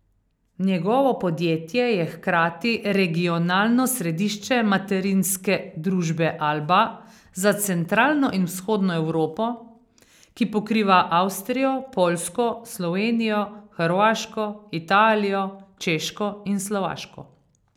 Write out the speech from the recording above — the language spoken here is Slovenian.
Njegovo podjetje je hkrati regionalno središče materinske družbe Alba za centralno in vzhodno Evropo, ki pokriva Avstrijo, Poljsko, Slovenijo, Hrvaško, Italijo, Češko in Slovaško.